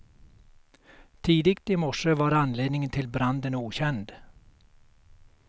Tidigt i morse var anledningen till branden okänd.